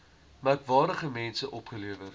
merkwaardige mense opgelewer